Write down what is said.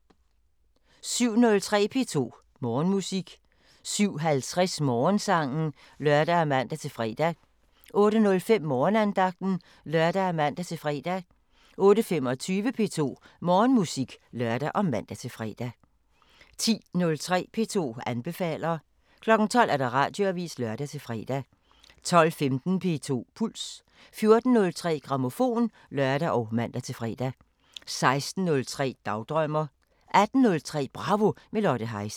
07:03: P2 Morgenmusik 07:50: Morgensangen (lør og man-fre) 08:05: Morgenandagten (lør og man-fre) 08:25: P2 Morgenmusik (lør og man-fre) 10:03: P2 anbefaler 12:00: Radioavisen (lør-fre) 12:15: P2 Puls 14:03: Grammofon (lør og man-fre) 16:03: Dagdrømmer 18:03: Bravo – med Lotte Heise